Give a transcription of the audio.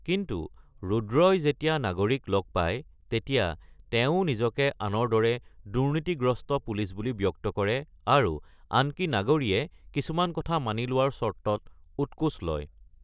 কিন্তু ৰুদ্ৰই যেতিয়া নাগৰীক লগ পায় তেতিয়া তেৱো নিজকে আনৰ দৰে দুৰ্নীতিগ্ৰস্ত পুলিচ বুলি ব্যক্ত কৰে আৰু আনকি নাগৰীয়ে কিছুমান কথা মানি লোৱাৰ চৰ্তত উৎকোচ লয়।